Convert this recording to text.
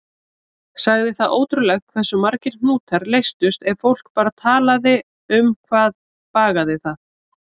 Sagði það ótrúlegt hversu margir hnútar leystust ef fólk bara talaði um hvað bagaði það.